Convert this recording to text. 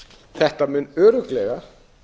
þetta mun örugglega